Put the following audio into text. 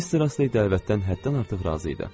Mister Astey dəvətdən həddən artıq razı idi.